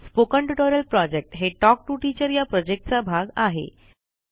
spoken tutorial project हे talk to teacher या प्रॉजेक्टचा भाग आहे